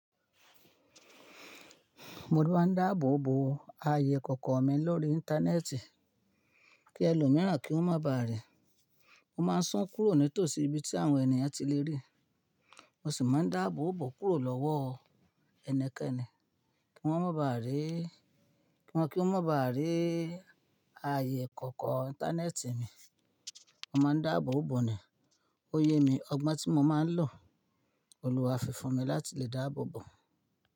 Mo tú má ń dáàbò bò ayé kọ̀kọ̀ mi lórí íńtánẹ́ẹ̀tì kí ẹlòmíràn kí wọ́n má bàa rí. Mo má ń sún kúrò nítòsí ibi tí àwọn ènìyàn tí lè rí, mo sì má ń dáàbò bò kúrò lọ́wọ́ ẹnikẹ́ni kí wọ́n má bàa rí, kí wọ́n má bàa rí ayé kọ̀kọ̀ íńtánẹ́ẹ̀tì mi. Mo má ń dáàbò bò ni ó yé mi, ọgbọ́n tí mo má ń lò olùwàfìfù mi láti lè dáàbò bò.